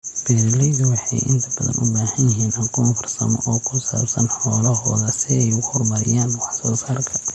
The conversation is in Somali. Beeralaydu waxay inta badan u baahan yihiin aqoon farsamo oo ku saabsan xoolahooda si ay u horumariyaan wax soo saarka.